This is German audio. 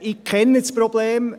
Ich kenne das Problem.